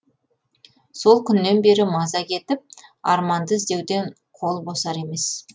сол күннен бері маза кетіп арманды іздеуден қол босар емес